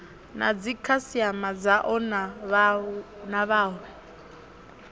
na dzikhasiama dzao na vhawe